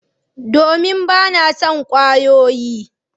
Domin ba na son kwayoyi